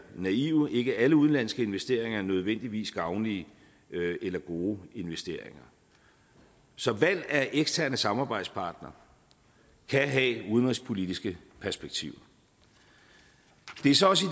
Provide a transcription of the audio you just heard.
naive for ikke alle udenlandske investeringer er nødvendigvis gavnlige eller gode investeringer så valg af eksterne samarbejdspartnere kan have udenrigspolitiske perspektiver det er så også i